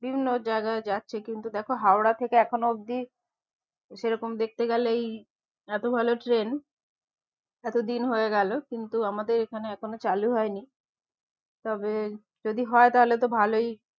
বিভিন্ন জায়গায় যাচ্ছে কিন্তু দেখো হাওড়া থেকে এখনো অব্দি সেরকম দেখতে গেলেই এতো ভালো ট্রেন এতো দিন হয়ে গেলো কিন্তু আমাদের এখানে এখনো চালু হয়নি তবে যদি হয় তাহলে তো ভালোই